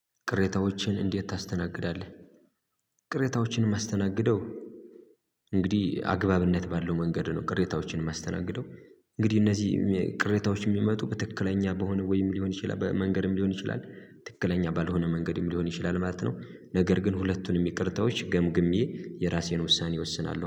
ቅሬታዎችን እንዴት ታስተናግዳለህ? ቅሬታዎችን የማስተናገደው እንግዲህ አግባብነት ባለው መንገድ ነው ቅሬታዎችን የማስተናግደው። እንግዲህ እነዚህ ቅሬታዎች የሚመጡ በትክክለኛ በሆነ ወይም ሊሆን ይችላል መንገድም ሊሆን ይችላል ትክክለኛ ባልሆነ መንገድም ሊሆን ይችላል ማለት ነው። ነገር ግን ሁለቱንም ይቅርታዎች ገምግሜ የራሴን ውሳኔ እወስናለሁ።